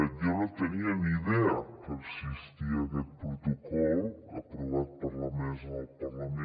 jo no tenia ni idea que existia aquest protocol aprovat per la mesa del parlament